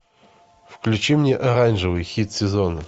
включи мне оранжевый хит сезона